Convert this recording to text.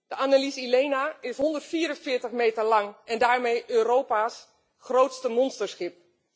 De Annelies Ilena is 144 meter lang en daarmee Europa's grootste monsterschip.